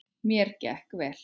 Mér gekk vel.